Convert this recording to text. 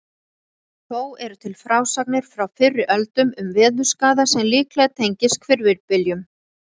Þó eru til frásagnir frá fyrri öldum um veðurskaða sem líklega tengist hvirfilbyljum.